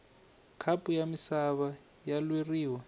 khapu ya misava ya lweriwa